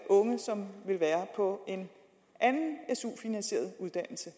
unge som vil være på en anden su finansieret uddannelse